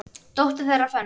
Dóttir þeirra, Fönn